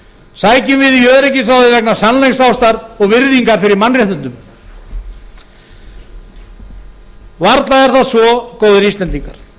sækjum við í öryggisráðið vegna sannleiksástar og virðingar fyrir mannréttindum varla er það svo góðir íslendingar